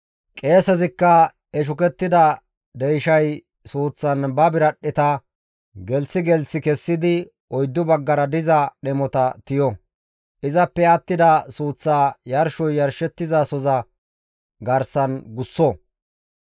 Qeesezikka he shukettida deyshay suuththan ba biradhdheta gelththi gelththi kessidi oyddu baggara diza dhemota tiyo; izappe attida suuththaa yarshoy yarshettizasoza garsan gusso.